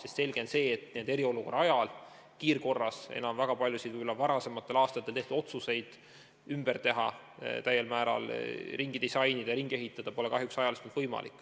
On selge, et eriolukorra ajal kiirkorras väga paljusid varasematel aastatel tehtud otsuseid ümber teha, täiel määral ringi disainida, ringi ehitada pole kahjuks ajaliselt võimalik.